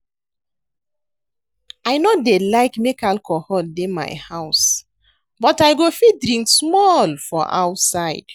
I no dey like make alcohol dey my house but I go fit drink small for outside